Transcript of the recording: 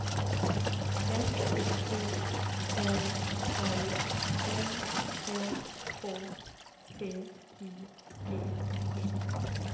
F U L L M Ä K T I G E